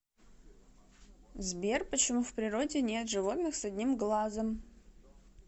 сбер почему в природе нет животных с одним глазом